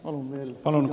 Palun lisaaega!